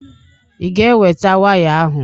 Ị ga-eweta waya ahụ?